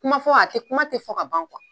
Kuma fɔ a tɛ kuma tɛ fɔ ka ban